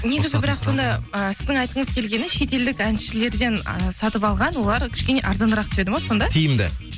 негізі бірақ сонда і сіздің айтқыңыз келгені шетелдік әншілерден ы сатып алған олар кішкене арзанырақ түседі ма сонда тиімді